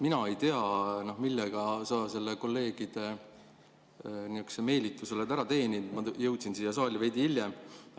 Mina ei tea, millega sa kolleegide nihukesed meelitused oled ära teeninud, ma jõudsin siia saali veidi hiljem.